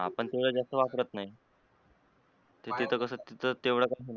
आपण तेवढ जास्त वापरत नाही ते तिथ कस थित तेवढ?